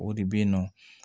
O de bɛ yen nɔ